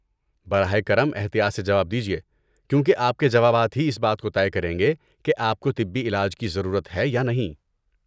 براہ کرم احتیاط سے جواب دیجیے، کیونکہ آپ کے جوابات ہی اس بات کو طے کریں گے کہ آپ کو طبی علاج کی ضرورت ہے یا نہیں۔